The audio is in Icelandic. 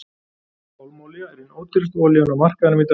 Pálmaolía er ein ódýrasta olían á markaðinum í dag.